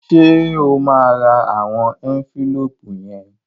Ṣé o máa ra àwọn ẹ́ńfílóòpù yẹn?